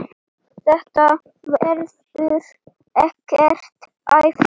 Þetta verður ekkert æft.